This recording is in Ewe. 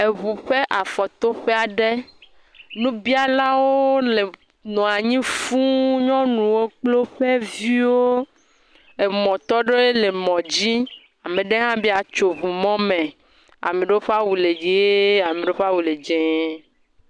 Eŋu ƒe afɔtoƒe aɖe. nubialawo le nɔa nyi fuu. Nyɔnuwo kple woƒe viwo. Emɔtɔ aɖewo le emɔ dzi. Ame aɖe hã be yeatso eŋu mɔ me. Ame aɖewo ƒe awu le dzie, ame aɖewo ƒe awu le dze.